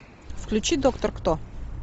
включи доктор кто